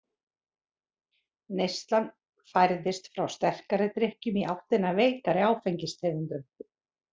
Neyslan færðist frá sterkari drykkjum í áttina að veikari áfengistegundum.